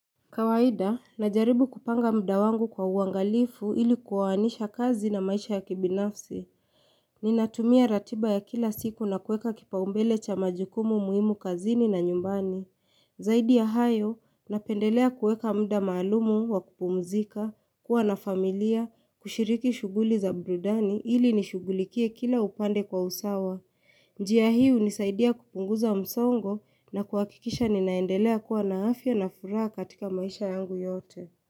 Kawaida, najaribu kupanga mda wangu kwa uangalifu ili kuoanisha kazi na maisha ya kibinafsi. Ninatumia ratiba ya kila siku na kueka kipaumbele cha majukumu muhimu kazini na nyumbani. Zaidi ya hayo, napendelea kueka mda maalumu wa kupumzika, kuwa na familia, kushiriki shughuli za burudani ili nishugulikie kila upande kwa usawa. Njiya hii hunisaidia kupunguza msongo na kuhakikisha ninaendelea kuwa na afya na furaha katika maisha yangu yote.